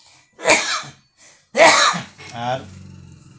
আর